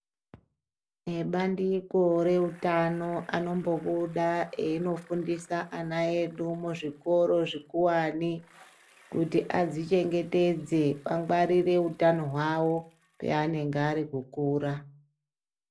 Ebandiko reutano anombobuda einofundisa ana edu muzvikoro zvikuwane kuti azvichengetedze angwarire utano hwawo paanenge ari kukura.